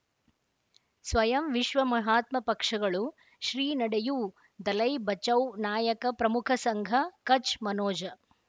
ಸ್ವಯಂ ವಿಶ್ವ ಮಹಾತ್ಮ ಪಕ್ಷಗಳು ಶ್ರೀ ನಡೆಯೂ ದಲೈ ಬಚೌ ನಾಯಕ ಪ್ರಮುಖ ಸಂಘ ಕಚ್ ಮನೋಜ